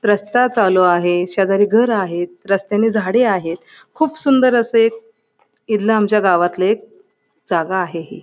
रास्ता चालू आहे शेजारी घर आहेत रस्त्यांनी झाडी आहेत खूप सुंदर असं एक इदल आमच्या गावातलं एक जागा आहे ही.